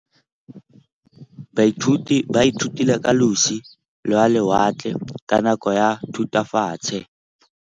Baithuti ba ithutile ka losi lwa lewatle ka nako ya Thutafatshe.